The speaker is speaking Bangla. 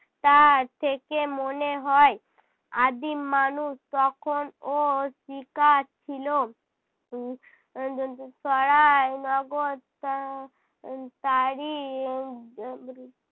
তার থেকে মনে হয় আদিম মানুষ তখন ও শিকার ছিল উহ উহ দন্তে সরাই নগর তা~ উহ তারই বর্গে~